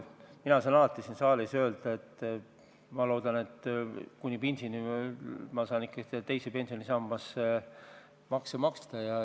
Mina saan alati siin saalis öelda, et loodan, et saan kuni pensionini teise sambasse ikkagi makseid teha.